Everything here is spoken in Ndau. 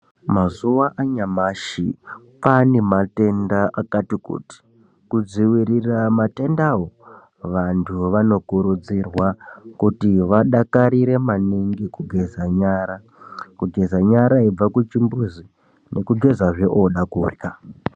Mazuva anyamashi kwane matenda akati kuti kudziirira matendawo. Vantu vanokurudzirwa kuri vadakarire maningi kugeza nyara kugeza nyara veibva kuchimbuzi nekugezazve oda korya.